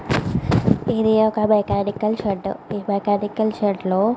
ఇది ఒక mechanical shed ఆ మెకానికల్ షెడ్ లో --